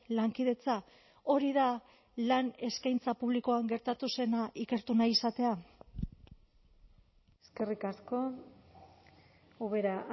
lankidetza hori da lan eskaintza publikoan gertatu zena ikertu nahi izatea eskerrik asko ubera